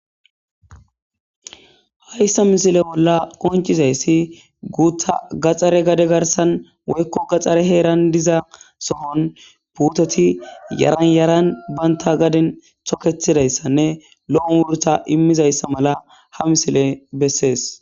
Hayssa misile bolla qoncizayssi guuta gaxxare gade garsan woykko gaxxare heeran diza sohon puutoti yaranyaran baynta gaden toketidayssanne lo7on wurta immizayssa mala ha misile bessees.